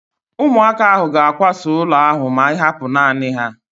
Ụmụaka ahu ga-akwasa ụlọ ahu ma ịhapụ naanị ha